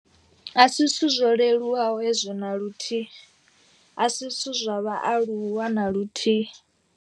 A si zwithu zwo leluwaho hezwi na luthihi. A si zwithu zwa vhaaluwa na luthihi.